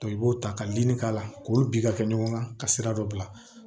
i b'o ta ka dimi k'a la k'olu bi ka kɛ ɲɔgɔn kan ka sira dɔ bila